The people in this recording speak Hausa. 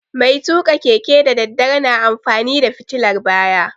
Mai tuƙa keke da daddare na amfani da fitilar baya